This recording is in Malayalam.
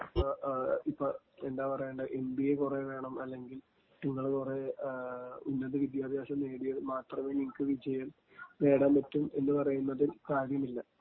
ങ്..ങാ...ഇപ്പൊ എന്താ പറയേണ്ടേ...എം.ബി.എ കുറെ വേണം അല്ലെങ്കിൽ നിങ്ങള് കുറെ ഉന്നത വിദ്യാഭ്യാസം നേടിയാൽ മാത്രമേ നിങ്ങക്ക് വിജയം നേടാൻ പറ്റൂ എന്ന് പറയുന്നതിൽ കാര്യമില്ല.